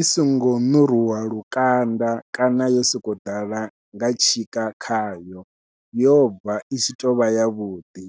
i songo ṋuruwa lukanda kana yo sokou ḓala nga tshika khayo yobva i tshi tovha yavhuḓi.